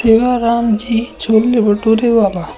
सेवाराम जी छोले भटूरे वाला।